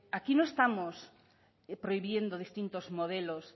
aquí no estamos prohibiendo distintos modelos